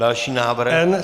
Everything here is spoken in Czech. Další návrh.